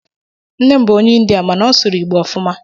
Nne m bụ onye India mana ọ sụrụ Igbo ofuma.